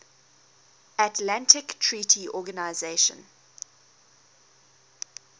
atlantic treaty organisation